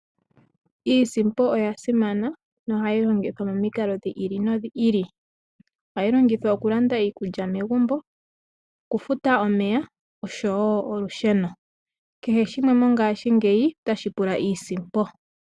Iisimpo oya simana nohayi longithwa momikalo dhi ili nodhi ili. Ohayi longithwa okulanda iikulya megumbo, okufuta omeya osho wo olusheno. Kehe shimwe mongashingeyi otashi pula iisimpo.